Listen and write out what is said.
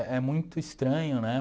É muito estranho, né?